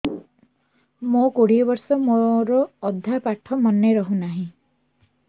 ମୋ କୋଡ଼ିଏ ବର୍ଷ ମୋର ଅଧା ପାଠ ମନେ ରହୁନାହିଁ